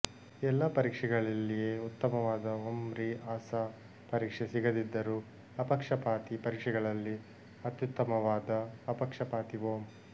ಎಲ್ಲ ಪರೀಕ್ಷೆಗಳಲ್ಲಿಯೇ ಉತ್ತಮವಾದ ಒಂ ರೀ ಅ ಸಾ ಪರೀಕ್ಷೆ ಸಿಗದಿದ್ದರೂ ಅಪಕ್ಷಪಾತಿ ಪರೀಕ್ಷೆಗಳಲ್ಲಿ ಅತ್ಯುತ್ತಮವಾದ ಅಪಕ್ಷಪಾತಿ ಒಂ